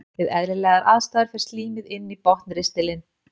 Við eðlilegar aðstæður fer slímið inn í botnristilinn.